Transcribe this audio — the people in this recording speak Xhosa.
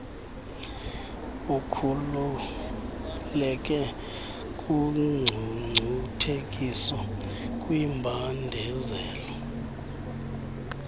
ukhululeke kungcungcuthekiso kwimbandezelo